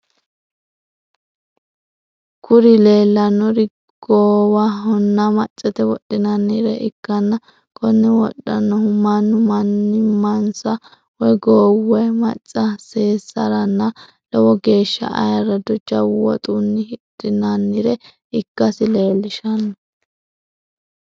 Kuri leellannori goowahonna maccate wodhinannire ikkanna konne wodhannohuno mannu mannimansa woy goowu woy maca seessaranna lowo geeshsa ayirado, jawu woxunni hidhinannire ikkasi leellishanno.